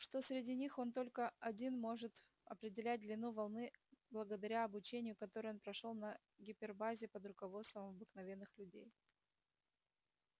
что среди них он только один может определять длину волны благодаря обучению которое он прошёл на гипербазе под руководством обыкновенных людей